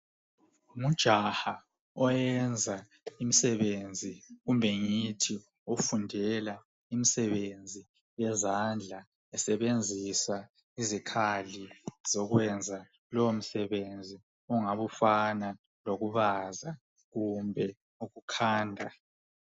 Ujaha oyenza imisebenzi kumbe ngithi ofundela imisebenzi yezandla esebenzisa izikhali zokwenza lowomsebenzi ongabe ufana lokubaza kumbe ukukhanda.